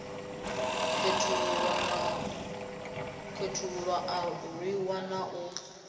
khethululwa a rwiwa na u